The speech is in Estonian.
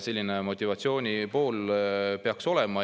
Selline motivatsiooni pool peaks olema.